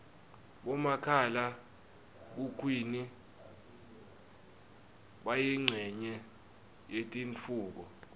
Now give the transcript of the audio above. bomakhala khukhwini bayincenye yetentfutfuko